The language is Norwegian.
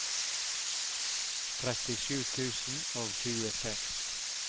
trettisju tusen og tjueseks